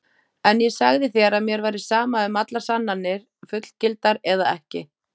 En ég sagði þér að mér væri sama um allar sannanir, fullgildar eða ekki.